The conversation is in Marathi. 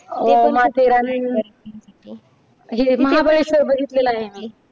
अह माथेरान वगैरे हे महाबळेश्वर बघितलेलं आहे.